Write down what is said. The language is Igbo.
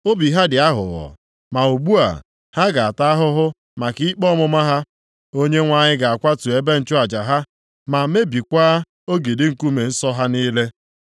Obi ha dị aghụghọ, ma ugbu a, ha ga-ata ahụhụ maka ikpe ọmụma ha. Onyenwe anyị ga-akwatu ebe nchụaja ha, ma mebikwaa ogidi nkume nsọ ha niile.